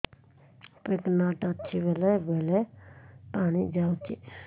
pregnant ଅଛି ବେଳେ ବେଳେ ପାଣି ଯାଉଛି